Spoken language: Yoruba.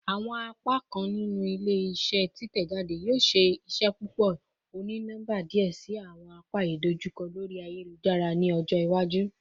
Awọn apakan ninu ile-iṣẹ titẹjade yoo ṣee ṣe ṣepọpọ oni-nọmba diẹ sii ati awọn apa idojukọ lori ayelujara ni ọjọ iwaju